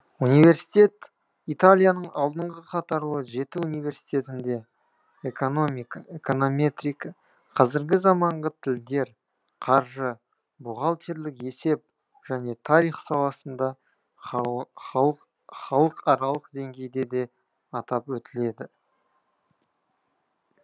университет италияның алдыңғы қатарлы жеті университетінде экономика эконометрика қазіргі заманғы тілдер қаржы бухгалтерлік есеп және тарих саласында халық халық халықаралық деңгейде де атап өтіледі